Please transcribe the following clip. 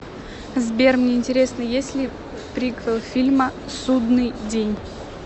сбер мне интересно есть ли приквел фильма судныи день